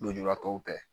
Lujuratɔw kɛ